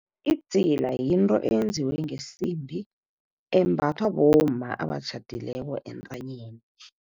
Idzila yinto eyenziwe ngesimbi, embathwa bomma abatjhadileko entanyeni.